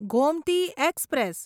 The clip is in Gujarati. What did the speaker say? ગોમતી એક્સપ્રેસ